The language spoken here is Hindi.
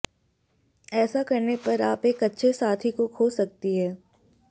ऐसा करने पर आप एक अच्छे साथी को खो सकती हैं